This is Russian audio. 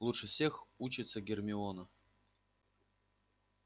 лучше всех учится гермиона